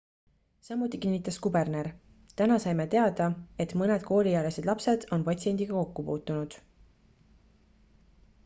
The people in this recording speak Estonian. samuti kinnitas kuberner täna saime teada et mõned kooliealised lapsed on patsiendiga kokku puutunud